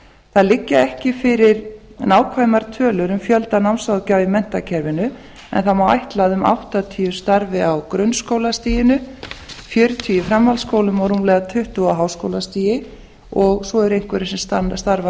það liggja ekki fyrir nákvæmar tölur um fjölda námsráðgjafa í menntakerfinu en það má ætla að um áttatíu starfi á grunnskólastiginu fjörutíu í framhaldsskólum og rúmlega tuttugu á háskólastigi og svo eru einhverjir sem starfa